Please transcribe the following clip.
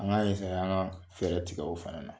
An ka an ka fɛɛrɛ tigɛ o fana na.